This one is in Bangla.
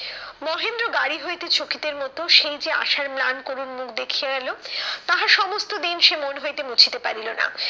মহেন্দ্র গাড়ি হইতে মতো সেই যে আশার ম্লান করুন মুখ দেখিয়া এলো, তাহা সমস্ত দিন সে মন হইতে মুছিতে পারিল না।